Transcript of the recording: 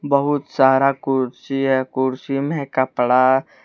बहुत सारा कुर्सी है कुर्सी में कपड़ा--